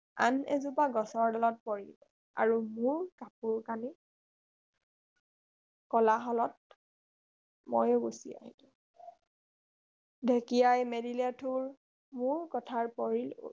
আন এজোপা গছৰ ডালত পৰিল আৰু মোৰ কাপোৰ কানি কলা হলত ময়ো গুচি আহিলো ঢেঁকীয়াই মেলিলে ঠোৰ মোৰ কথাৰ পৰিল ওৰ